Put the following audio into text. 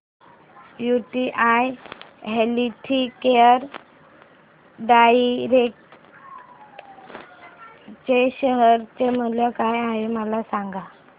UTI healthcare direct च्या share चे मूल्य काय आहे मला सांगा